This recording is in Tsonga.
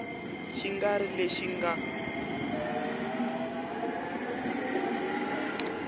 xi nga ri lexi mga